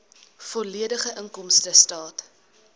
volledige inkomstestaat